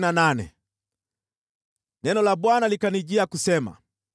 Neno la Bwana likanijia kusema: